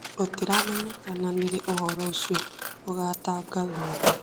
Gũtiramenyekana nĩ rĩ ũhoro ũcio ũgatangathwo